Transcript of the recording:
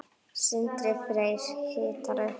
Sindri Freyr hitar upp.